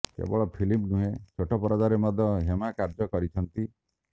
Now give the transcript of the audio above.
କେବଳ ଫିଲ୍ମ ନୁହେଁ ଛୋଟ ପରଦାରେ ମଧ୍ୟ ହେମା କାର୍ଯ୍ୟ କରିଛନ୍ତି